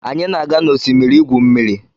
Anyi na-aga n'osimiri igwu mmiri